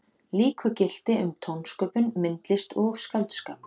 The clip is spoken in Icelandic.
Líku gilti um tónsköpun, myndlist og skáldskap.